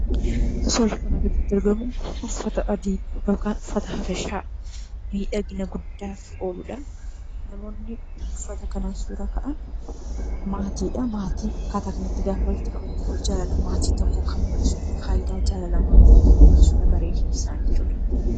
Suurri kanaa gaditti argamu uffata adii yookaan uffata Habashaa miidhagina guddaaf ooluudha. Namoonni uffata kanaan suuraa ka'an maatii dha. Maatiin akkaataa kanatti gaafa walitti qabamu jaalala maatii tokkoo kan mul'isuudha. Faayidaa jaalala maatii kan mul'isuudha bareedinni isaanii jechuudha.